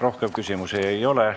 Rohkem küsimusi ei ole.